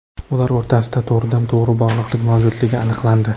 Ular o‘rtasida to‘g‘ridan-to‘g‘ri bog‘liqlik mavjudligi aniqlandi.